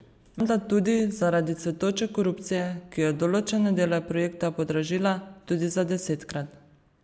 Menda tudi zaradi cvetoče korupcije, ki je določene dele projekta podražila tudi za desetkrat.